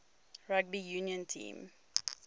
rugby union team